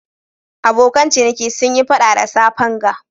Abokan ciniki sun Yi fada da safen ga.